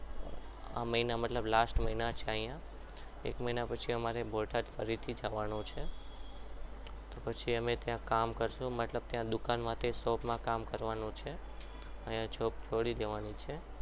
આ મહિના મતલબ last મહિના છે અહીંયા એક મહિના પછી મારે બોટાદ ફરીથી જવાનું છે તો પછી અમે ત્યાં કામ કરીશું મતલબ ત્યાં મતલબ ત્યાં દુકાનમાં shop માં કામ કરવાનું છે અહીંયા job છોડી દેવાની છે.